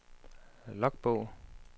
logbog